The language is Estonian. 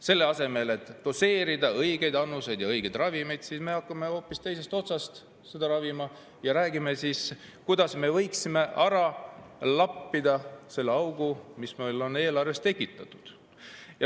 Selle asemel et doseerida õigeid annuseid õigeid ravimeid, me hakkame hoopis teisest otsast teda ravima ja räägime, kuidas me võiksime ära lappida selle augu, mis meil on eelarves tekitatud.